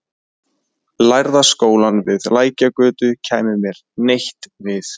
Lærða skólann við Lækjargötu kæmi mér neitt við.